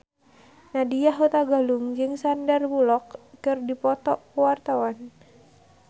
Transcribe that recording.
Nadya Hutagalung jeung Sandar Bullock keur dipoto ku wartawan